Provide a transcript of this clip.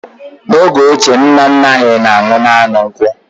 N'oge ochie, nna nna anyị na-aṅụ naanị nkwụ